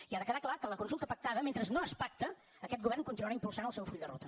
i ha de quedar clar que la consulta pactada mentre no es pacta aquest govern continuarà impulsant el seu full de ruta